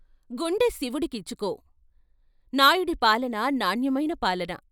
గుండె శివుడికిచ్చుకో, నాయుడి పాలన నాణ్యమైన పాలన.